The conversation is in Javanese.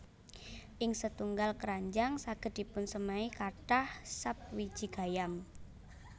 Ing setunggal kranjang saged dipunsemai kathah sap wiji gayam